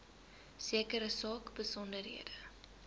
sekere saak besonderhede